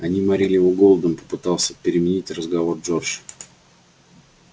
они морили его голодом попытался переменить разговор джордж